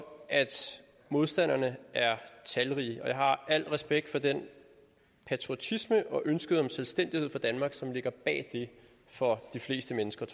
at modstanderne er talrige og jeg har al respekt for den patriotisme og ønske om selvstændighed for danmark som ligger bag det for de fleste menneskers